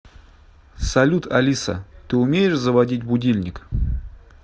салют алиса ты умеешь заводить будильник